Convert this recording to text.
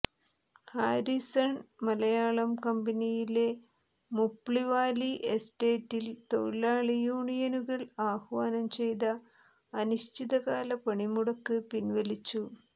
Harrison Malayalam കമ്പനിയിലെ മുപ്ലിവാലി എസ്റ്റേറ്റിൽ തൊഴിലാളി യൂണിയനുകൾ ആഹ്വാനം ചെയ്ത അനിശ്ചിതകാല പണിമുടക്ക് പിൻവലിച്ചു